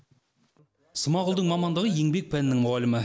смағұлдың мамандығы еңбек пәнінің мұғалімі